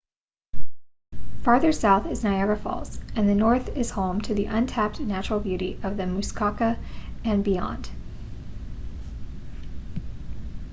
farther south is niagara falls and the north is home to the untapped natural beauty of the muskoka and beyond